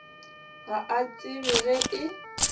ga a tsebe ge e